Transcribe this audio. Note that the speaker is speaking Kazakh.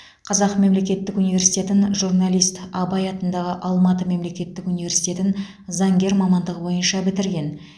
қазақ мемлекеттік университетін журналист абай атындағы алматы мемлекеттік университетін заңгер мамандығы бойынша бітірген